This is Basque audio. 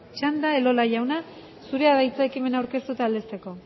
txanda elola jauna zurea da hitza ekimena aurkeztu eta aldezteko